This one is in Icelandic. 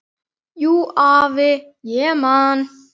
Jú, afi, ég man.